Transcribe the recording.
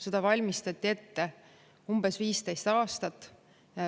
Seda valmistati ette umbes 15 aastat.